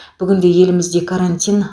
бүгінде елімізде карантин